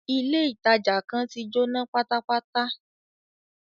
Ilé ìtàjà kan tí Jóná pátápátá.